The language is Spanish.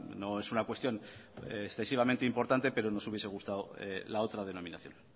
no es una cuestión excesivamente importante pero nos hubiese gustado la otra denominación